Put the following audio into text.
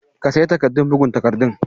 ka sayi takardun bugun takardun?